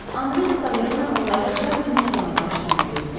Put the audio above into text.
Andre de Taverne onları Şarninin otağı qarşısında gözləyirdi.